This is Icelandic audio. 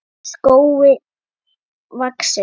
skógi vaxinn.